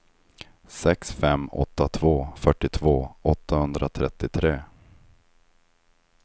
sex fem åtta två fyrtiotvå åttahundratrettiotre